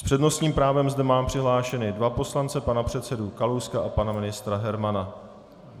S přednostním právem zde mám přihlášené dva poslance, pana předsedu Kalouska a pana ministra Hermana.